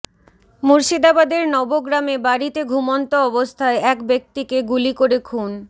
মুর্শিদাবাদের নবগ্রামে বাড়িতে ঘুমন্ত অবস্থায় এক ব্যক্তিকে গুলি করে খুন